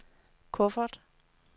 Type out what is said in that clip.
kuffert